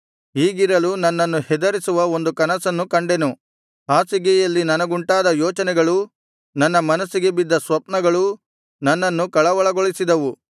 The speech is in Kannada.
ಹೀಗಿರಲು ನನ್ನನ್ನು ಹೆದರಿಸುವ ಒಂದು ಕನಸನ್ನು ಕಂಡೆನು ಹಾಸಿಗೆಯಲ್ಲಿ ನನಗುಂಟಾದ ಯೋಚನೆಗಳೂ ನನ್ನ ಮನಸ್ಸಿಗೆ ಬಿದ್ದ ಸ್ವಪ್ನಗಳೂ ನನ್ನನ್ನು ಕಳವಳಗೊಳಿಸಿದವು